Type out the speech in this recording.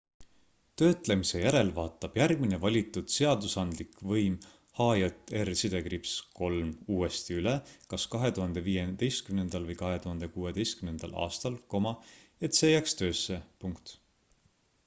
töötlemise järel vaatab järgmine valitud seadusandlik võim hjr-3 uuesti üle kas 2015 või 2016 aastal et see jääks töösse